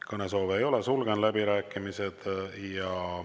Kõnesoove ei ole, sulgen läbirääkimised.